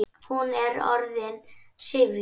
Hún er orðin syfjuð.